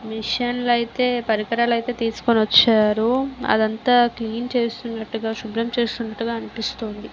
Machine లు అయితే పరికరాలు అయితే తీసుకొని వచ్చారు. అదంతా క్లీన్ చేస్తున్నట్టుగా శుభ్రం చేస్తుండగా అనిపిస్తుంది.